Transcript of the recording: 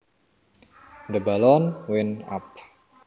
The balloon went up